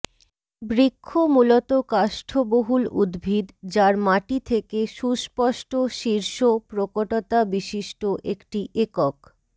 বৃক্ষ মূলত কাষ্ঠবহুল উদ্ভিদ যার মাটি থেকে সুস্পষ্ট শীর্ষ প্রকটতা বিশিষ্ট একটি একক